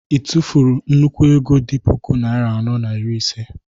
ị tụfuru nnukwu ego dị puku naịra anọ na iri ise?